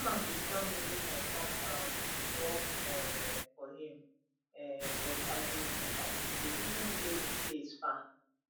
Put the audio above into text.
dat man bin tell me make i come um work um for him um but i bin i bin dey reason say im place far